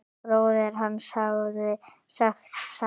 Bróðir hans hafði sagt satt.